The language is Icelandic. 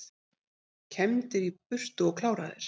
Kembdir í burtu og kláraðir